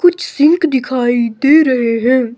कुछ सिंक दिखाई दे रहे हैं।